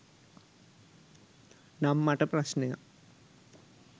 නම් මට ප්‍රශ්නයක්